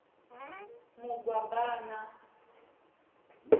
mugwabana